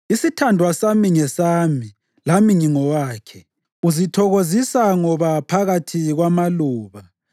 Isithandwa sami ngesami lami ngingowakhe; uzithokozisa ngoba phakathi kwamaluba.